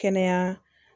Kɛnɛya